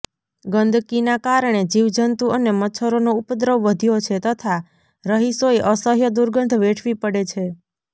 ગંદકીના કારણે જીવજંતુ અને મચ્છરોનો ઉપદ્રવ વધ્યો છે તથા રહીશોએ અસહ્ય દુર્ગંધ વેઠવી પડે છે